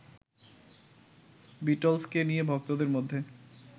বিটলসকে নিয়ে ভক্তদের মধ্যে